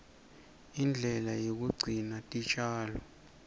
indlela yekugcina titjalo